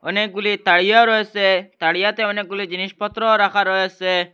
অনেকগুলি তারিয়াও রয়েসে তারিয়াতে অনেকগুলি জিনিসপত্র রাখা রয়েসে।